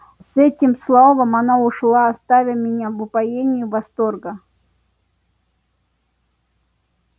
с этим словом она ушла оставя меня в упоении восторга